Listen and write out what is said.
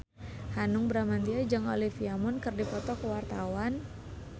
Hanung Bramantyo jeung Olivia Munn keur dipoto ku wartawan